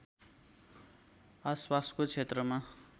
आसपासको क्षेत्रमा